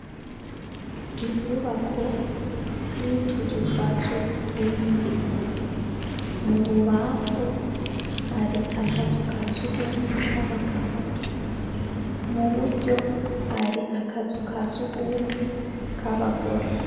Inyubako y' utuzu twa sugumwe mububamfu hari akazu kasugumwe k' abagabo muburyo hari akazu ka sugumwe k' abagore.